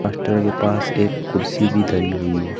Master के पास एक कुर्सी भी धरी हुई है।